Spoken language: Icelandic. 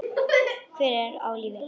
Hver er á lífi?